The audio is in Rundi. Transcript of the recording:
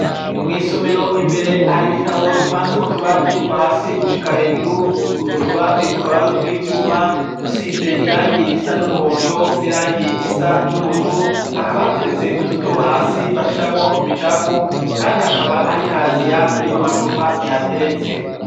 Mw'isomero imbere hari ibitabo bipanze mu tubati kuva hasi gushika hejuru utwo tubati tukabarutwaivyuma dusize irangi risa n'umuhondo n'irangi risa n'ubururu hakabateretse utudobo hasi bashiramwo imicafu, kandi hakaba hari kaziya irimwo amacupa ehateretse.